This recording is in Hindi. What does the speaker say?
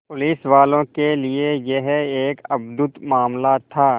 पुलिसवालों के लिए यह एक अद्भुत मामला था